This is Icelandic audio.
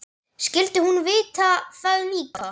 Skyldi hún vita það líka?